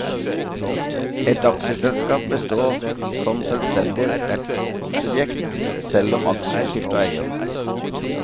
Et aksjeselskap består som selvstendig rettssubjekt selv om aksjer skifter eier.